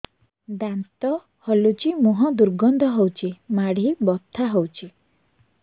ଦାନ୍ତ ହଲୁଛି ମୁହଁ ଦୁର୍ଗନ୍ଧ ହଉଚି ମାଢି ବଥା ହଉଚି